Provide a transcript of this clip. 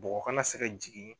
Bɔgɔ kana se ka jigi